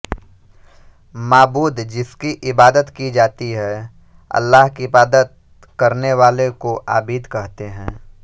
माबूद जिसकी इबादत की जाती है अल्लाह की इबादत करने वाले को आबिद कहते हैं